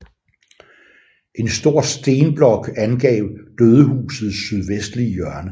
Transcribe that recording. En stor stenblok angav dødehusets sydvestlige hjørne